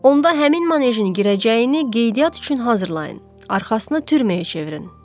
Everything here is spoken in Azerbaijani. Onda həmin manejə girəcəyini qeydiyyat üçün hazırlayın, arxasını türməyə çevirin.